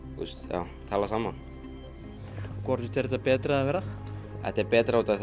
já tala saman hvort finnst þér þetta betra eða verra þetta er betra út af